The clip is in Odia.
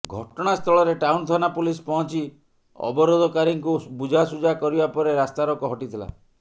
ଘଟଣା ସ୍ଥଳରେ ଟାଉନ ଥାନା ପୁଲିସ୍ ପହଞ୍ଚି ଅବରୋଧକାରୀଙ୍କୁ ବୁଝାସୁଝା କରିବା ପରେ ରାସ୍ତାରୋକ୍ ହଟିଥିଲା